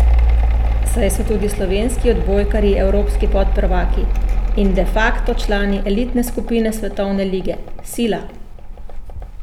Saj so tudi slovenski odbojkarji evropski podprvaki in de facto člani elitne skupine svetovne lige, sila.